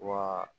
Wa